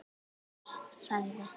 Vilhelm þagði.